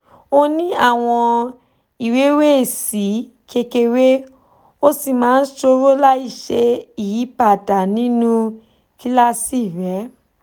ó ní àwọn ìrẹ̀wẹ̀sì kékeré ó sì máa ń sọ̀rọ̀ láìṣe ìyípadà nínú kíláàsì rẹ̀